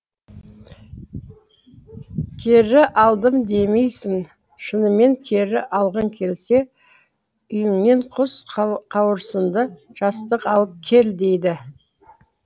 кері алдым деймісің шынымен кері алғың келсе үйіңнен құс қауырсынды жастық алып кел дейді